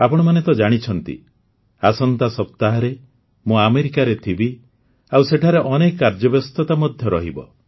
ଆପଣମାନେ ତ ଜାଣିଛନ୍ତି ଆସନ୍ତା ସପ୍ତାହରେ ମୁଁ ଆମେରିକାରେ ଥିବି ଆଉ ସେଠାରେ ଅନେକ କାର୍ଯ୍ୟବ୍ୟସ୍ତତା ମଧ୍ୟ ରହିବ